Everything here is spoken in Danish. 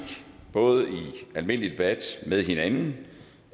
både i almindelig debat med hinanden